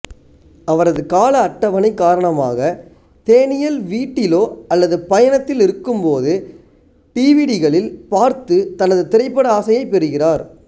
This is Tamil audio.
அவரது கால அட்டவணை காரணமாக தேனியல் வீட்டிலோ அல்லது பயணத்தில் இருக்கும்போது டிவிடிகளில் பார்த்து தனது திரைப்பட ஆசையை பெறுகிறார்